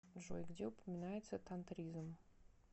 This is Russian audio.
джой где упоминается тантризм